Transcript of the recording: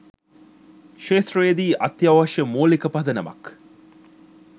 ක්‍ෂේත්‍රයේදී අත්‍යවශ්‍ය මූලික පදනමක්